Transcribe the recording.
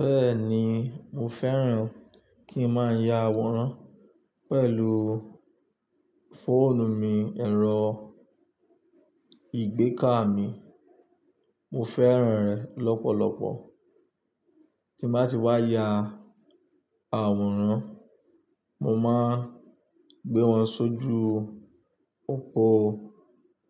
Bẹ́ẹ̀ni mo fẹ́ràn kí ń má ya àwòrán pẹ̀lú fóònù mi ẹ̀rọ ìgbẹ́kà mi, mo fẹ́ràn rẹ̀ lọ́pọ̀lọpọ̀. Tí má ti wá ya àwòrán, mo má ń gbé wọn sójú òpó